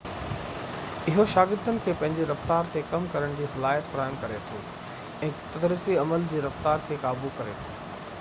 اهو شاگردن کي پنهنجي رفتار تي ڪم ڪرڻ جي صلاحيت فراهم ڪري ٿو ۽ تدريسي معلومات جي رفتار کي قابو ڪري ٿو